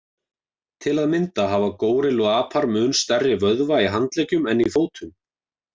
Til að mynda hafa górilluapar mun stærri vöðva í handleggjum en í fótum.